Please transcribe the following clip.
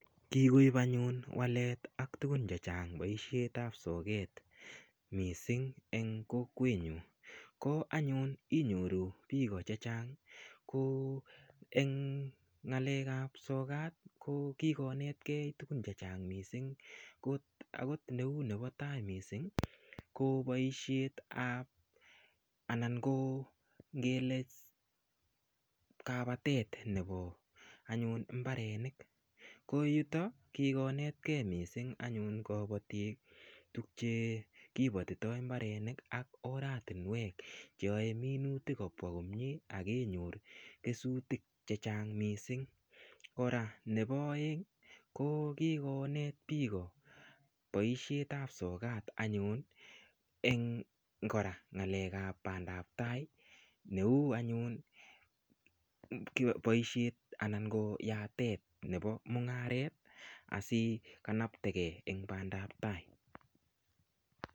Kikoip anyun walet ak tugun che chang poishe ap soket missing' eng' kokwenyun. Ko anyun inyoru piko che chang' ko eng' ng'alek ap soket ki konetkei tugun che chang' missing'. Kou nepo tai ko missing' ko paishet ap anan kapatet nepo mbarenik. Ko yutok ko kikonetgei missing' anyun kapatik tugchekipatitao mbarenik ak oratunwek che yae minutik kopwa komye ak kenyor kesutiik ch chang' missing'. Kora nepo aeng' ko kikonet piko poishet ap sokat anyun eng' kora pandaptai ne u anyun poishet anan yatet nepo mung'aret asikanapte gei eng' pandaptai.